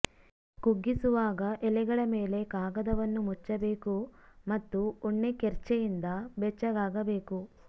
ಕುಗ್ಗಿಸುವಾಗ ಎಲೆಗಳ ಮೇಲೆ ಕಾಗದವನ್ನು ಮುಚ್ಚಬೇಕು ಮತ್ತು ಉಣ್ಣೆ ಕೆರ್ಛೆಯಿಂದ ಬೆಚ್ಚಗಾಗಬೇಕು